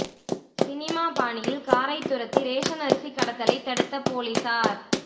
cinema பாணியில் காரை துரத்தி ரேஷன் அரிசி கடத்தலை தடுத்த போலீசார்